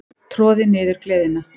Troði niður gleðina.